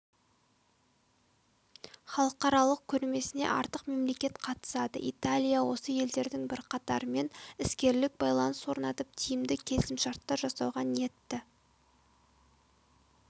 халықаралық көрмесіне артық мемлекет қатысады италия осы елдердің бірқатарымен іскерлік байланыс орнатып тиімді келісімшарттар жасауға ниетті